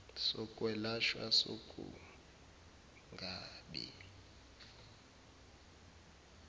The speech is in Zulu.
sok welashwa sokungabi